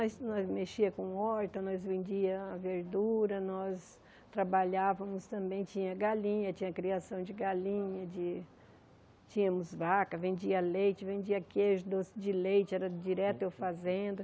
Mas nós mexíamos com horta, nós vendíamos verdura, nós trabalhávamos também, tinha galinha, tinha criação de galinha, de... Tínhamos vaca, vendíamos leite, vendíamos queijo doce de leite, era direto eu fazendo.